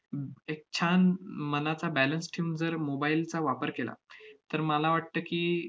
एक छान मनाचा balance ठेवून जर mobile चा वापर केला, तर मला वाटतं की,